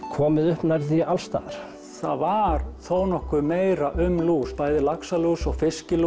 komið upp nærri því alls staðar það var þó nokkuð meira um lús bæði laxalús og